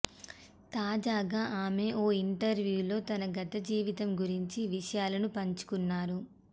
తాజాగా ఆమె ఓ ఇంటర్వ్యూలో తన గత జీవితం గురించిన విషయాలను పంచుకున్నారు